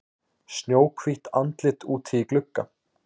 Snjóhvítt andlit úti í glugga.